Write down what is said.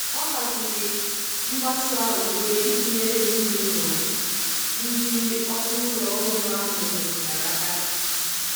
O haziri mgbasa uwe iji nyere ezinụlọ ndị ọkụ ụlọ ọhụrụ ahụ metụtara aka.